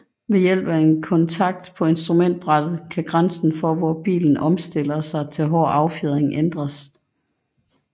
Ved hjælp af en kontakt på instrumentbrættet kan grænsen for hvor bilen omstiller sig til hård affjedring ændres